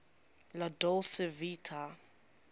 la dolce vita